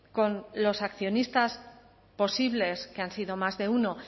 con los accionistas posibles que han sido más de uno